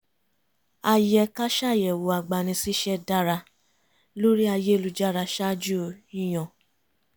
a yẹ ká ṣàyẹ̀wò agbani-síṣẹ́ dára lórí ayélujára ṣáájú yíyan